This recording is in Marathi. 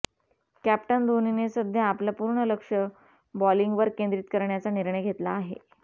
कॅप्टन धोणीने सध्या आपलं पूर्ण लक्ष बॉलींगवर केंद्रीत करण्याचा निर्णय घेतला आहे